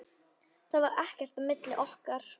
Það var ekkert á milli okkar.